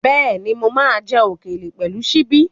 Bẹ́ẹ̀ni, mo máa ń jẹ òkèlè pẹ̀lú ṣíbí.